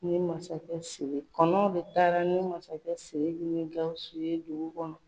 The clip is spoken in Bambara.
Ni masakɛ su ye. Kɔnɔw de taara ni masakɛ Siriki ni Gawusu ye dugu kɔnɔ.